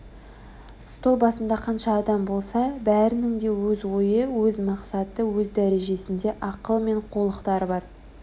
стол басында қанша адам болса бәрінің де өз ойы өз мақсаты өз дәрежесінде ақылы мен қулықтары бар